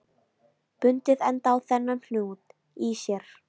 Bundið enda á þennan hnút í sér.